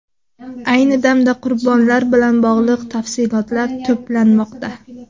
Ayni damda qurbonlar bilan bog‘liq tafsilotlar to‘planmoqda.